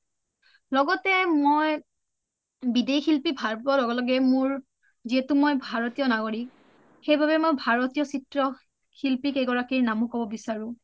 লগতে মই বিদেশী শিল্পী ভাল পুৱাৰ লগে লগে মোৰ যিহেতু মই ভাৰতীয় নাগৰী সেইবাবে মই ভাৰতীয় চিএ শিল্পী কেইগৰাকীৰ নামও ক’ব বিচাৰো